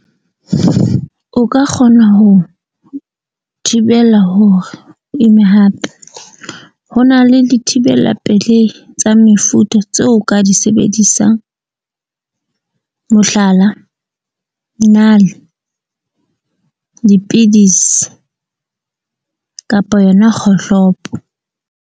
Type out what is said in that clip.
O ka kgona ho thibela hore imme hape, ho na le dithibela pelehi tsa mefuta tseo ka di sebedisang. Mohlala, nale, dipidisi kapa yona kgohlopo.